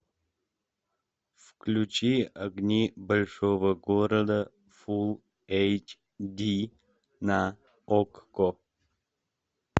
включи огни большого города фулл эйч ди на окко